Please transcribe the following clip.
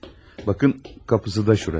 Baxın, qapısı da burası.